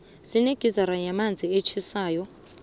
sinegizara yamanzi atjhisako